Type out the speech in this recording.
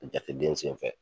Jateden sen fɛ